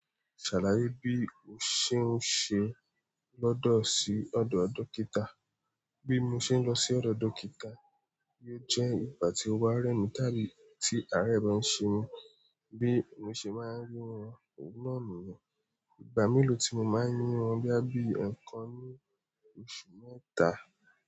Ṣàlàyé bí o ṣe ń ṣe lọ́dọ̀ sí ọ̀dọ̀ dókítà. Bí mo ṣe ń lọ sí ọ̀dọ̀ dókítà, ó jẹ́ ìgbà tí ó wà rẹ́ mi, tábí tí àárẹ̀ bá ń ṣe mí, bí mo ṣe máa ń rí wọn, òun náà nìyẹn. Ìgbà mélòó tí mo máa ń rí wọn dá bí ẹ̀ẹ̀kan ní oṣù mẹ́ta.